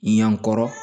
Ɲankɔrɔ